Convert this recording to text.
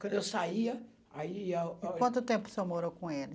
Quando eu saia, aí ia ó... Quanto tempo o senhor morou com ele?